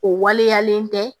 O waleyalen tɛ